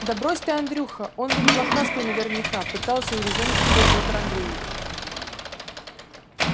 да брось ты андрюха он ведь блохастый наверняка пытался урезонить его петр андреевич